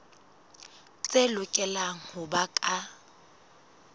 tse lokelang ho ba ka